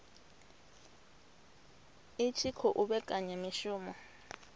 i tshi khou vhekanya mishumo